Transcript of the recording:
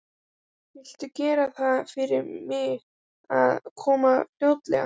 Viltu gera það fyrir mig að koma fljótlega?